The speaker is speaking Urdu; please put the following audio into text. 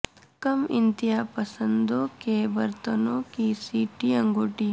کم انتہا پسندوں کے برتنوں کی سی ٹی انگوٹی